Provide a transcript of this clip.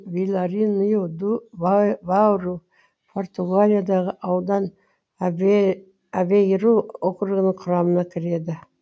виларинью ду бауру португалиядағы аудан авейру округінің құрамына кіреді